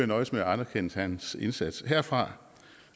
nøjes med at anerkende hans indsats herfra